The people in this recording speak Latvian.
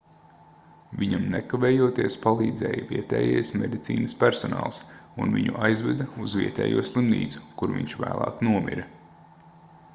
viņam nekavējoties palīdzēja vietējais medicīnas personāls un viņu aizveda uz vietējo slimnīcu kur viņš vēlāk nomira